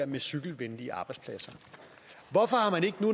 med cykelvenlige arbejdspladser hvorfor har man ikke